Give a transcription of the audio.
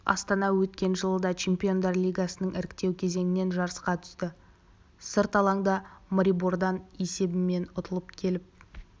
астана өткен жылы да чемпиондар лигасының іріктеу кезеңінен жарысқа түсті сырт алаңда марибордан есебімен ұтылып келіп